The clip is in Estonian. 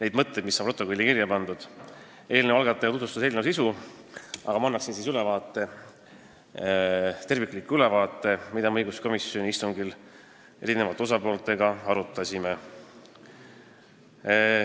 Eelnõu algataja esindaja tutvustas eelnõu sisu, aga mina annan tervikliku ülevaate sellest, mida me õiguskomisjoni istungil eri osapooltega arutasime.